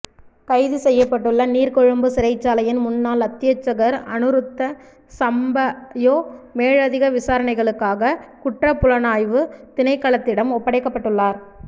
கைது செய்யப்பட்டுள்ள நீர்கொழும்பு சிறைச்சாலையின் முன்னாள் அத்தியட்சகர் அனுருத்த சம்பாயோ மேலதிக விசாரணைகளுக்காக குற்றப்புலனாய்வு திணைக்களத்திடம் ஒப்படைக்கப்பட்டுள்ளார்